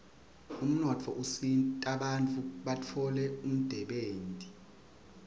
umnotfo usita bantfu batfole umdebenti